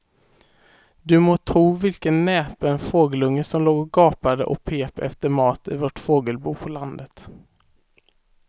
Du må tro vilken näpen fågelunge som låg och gapade och pep efter mat i vårt fågelbo på landet.